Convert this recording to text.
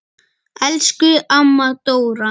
Elsku amma Dóra.